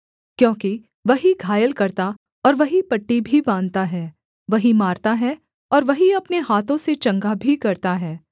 क्योंकि वही घायल करता और वही पट्टी भी बाँधता है वही मारता है और वही अपने हाथों से चंगा भी करता है